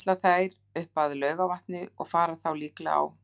Nú ætla þær upp að Laugarvatni og fara þá líklega á